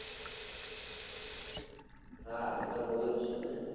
હા હું તો બોલુજ છુને